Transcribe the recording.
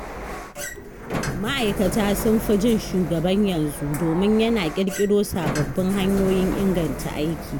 Ma’aikata sun fi jin shugaban yanzu domin yana ƙirƙiro sababbin hanyoyin inganta aiki.